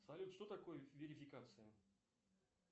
салют что такое верификация